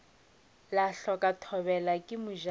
la hloka thobela ke mojano